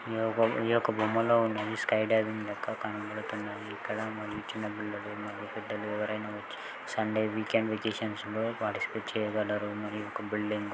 ఈ యొక్క ఈ యొక్క బొమ్మలో ఉన్నది స్కైడాబిన్ లెక్క కనబడుతున్నది. ఇక్కడ మరియు చిన్న పిల్లలు మరియు పెద్దలు ఎవరైనా వచ్చి సండే వీకెండ్ వెకేషన్స్ లో పార్టీసిపేట్ చేయగలరు. మరియు ఒక బిల్డింగు--